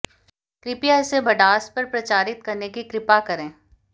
कृपया इसे भडास पर प्रचारित करने की कृपा करें